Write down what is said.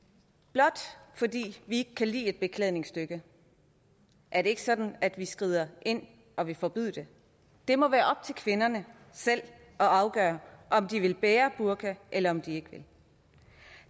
blot fordi vi ikke kan lide et beklædningsstykke er det ikke sådan at vi skrider ind og vil forbyde det det må være op til kvinderne selv at afgøre om de vil bære burka eller om de ikke vil